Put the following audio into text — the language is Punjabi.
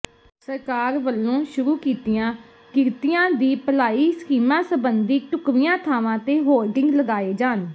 ਸਰਕਾਰ ਵੱਲੋਂ ਸ਼ੁਰੂ ਕੀਤੀਆਂ ਕਿਰਤੀਆਂ ਦੀ ਭਲਾਈ ਸਕੀਮਾਂ ਸਬੰਧੀ ਢੁੱਕਵੀਆਂ ਥਾਵਾਂ ਤੇ ਹੋਰਡਿੰਗ ਲਗਾਏ ਜਾਣ